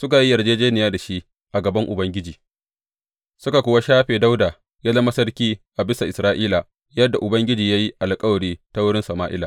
suka yi yarjejjeniya da shi a gaban Ubangiji, suka kuwa shafe Dawuda ya zama sarki a bisa Isra’ila, yadda Ubangiji ya yi alkawari ta wurin Sama’ila.